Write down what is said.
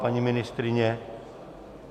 Paní ministryně?